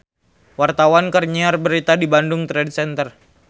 Wartawan keur nyiar berita di Bandung Trade Center